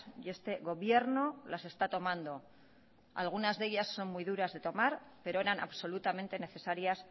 y este gobierno las está tomando algunas de ellas son muy duras de tomar pero eran absolutamente necesarias